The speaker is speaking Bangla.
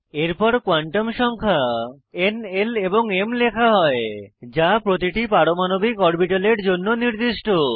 এরপর কোয়ান্টাম সংখ্যা n l এবং m লেখা হয় যা প্রতিটি পারমাণবিক অরবিটালের জন্য নির্দিষ্ট